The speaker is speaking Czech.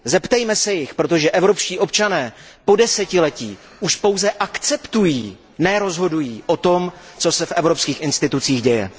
Zeptejme se jich, protože evropští občané po desetiletí už pouze akceptují, ne rozhodují o tom, co se v evropských institucích děje.